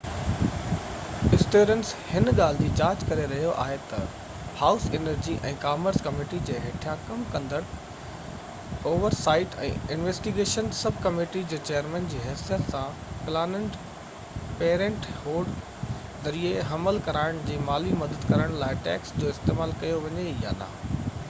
Stearns هن ڳالهہ جي جاچ ڪري رهيو آهي تہ هائوس انرجي ۽ ڪامرس ڪميٽي جي هيٺيان ڪم ڪندڙ oversight ۽ investigations sub committee جي چئيرمن جي حيثيت سان پلاننڊ پيرينٽ هوڊ ذريعي حمل ڪيرائڻ جي مالي مدد ڪرڻ لاءِ ٽيڪس جو استعمال ڪيو وڃي يا نہ